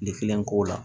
ko la